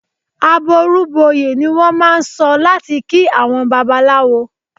"Àbọrú bọyè" ni wọ́n máà ń sọ láti kí àwọn Babaláwo.